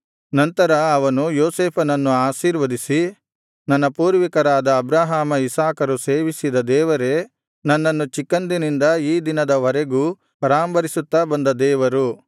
ನಂತರ ಅವನು ಯೋಸೇಫನನ್ನು ಆಶೀರ್ವದಿಸಿ ನನ್ನ ಪೂರ್ವಿಕರಾದ ಅಬ್ರಹಾಮ ಇಸಾಕರು ಸೇವಿಸಿದ ದೇವರೇ ನನ್ನನ್ನು ಚಿಕ್ಕಂದಿನಿಂದ ಈ ದಿನದ ವರೆಗೂ ಪರಾಂಬರಿಸುತ್ತಾ ಬಂದ ದೇವರು